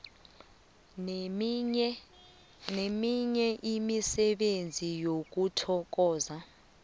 neminye imisebenzi yokuthokozwa